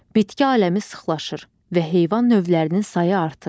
Bitki aləmi sıxlaşır və heyvan növlərinin sayı artır.